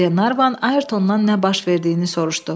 Qlenarvan Ayertondan nə baş verdiyini soruşdu.